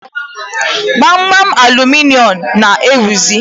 Gbamgbam aluminịọmụ na-ewuzi